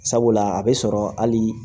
Sabula a bɛ sɔrɔ hali